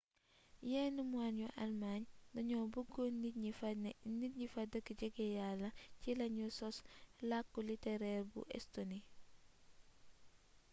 yenn moine yu almaañ dañoo bëggoon nit ñi fa dëkk jege yalla ci lañu sos làkku litereer bu estoni